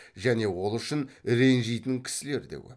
және ол үшін ренжитін кісілер де көп